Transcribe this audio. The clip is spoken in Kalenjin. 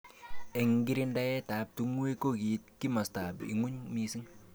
Eng kirindaet ab tung'wek kokiit kimosta ab ng'uny mising.